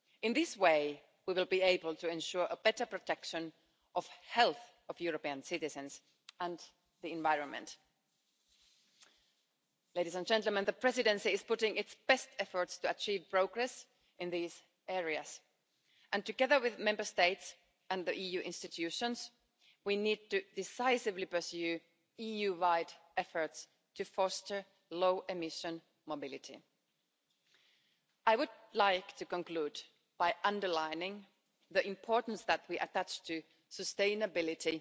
In this way we will be able to ensure a better protection of the health of European citizens and the environment. Ladies and gentlemen, the Presidency is putting its best efforts to achieve progress in these areas, and together with Member States and the EU institutions, we need to decisively pursue EU wide efforts to foster low emission mobility. I would like to conclude by underlining the importance that we attach to sustainability,